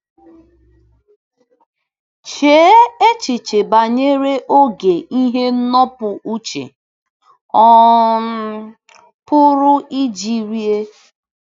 Chee echiche banyere oge ihe ndọpụ uche um pụrụ iji rie.